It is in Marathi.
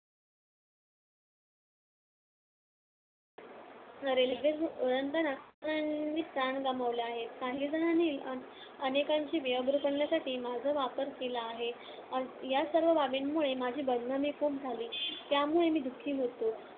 रेल्वेरूळ ओलांडताना काहीजणांनी प्राण गमावले आहेत. काहीजणांनी अनेकांची बेअब्रू करण्यासाठी माझा वापर केला आहे. या सर्व बाबींमुळे माझी बदनामी खूप झाली. त्यामुळे मी दुःखी होतो.